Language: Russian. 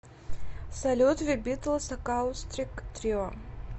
салют зэ битлс акаустик трио